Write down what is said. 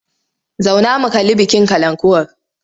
Zauna mu kalli bikin kalankuwar!